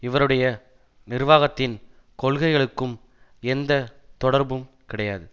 இவருடைய நிர்வாகத்தின் கொள்கைகளுக்கும் எந்த தொடர்பும் கிடையாது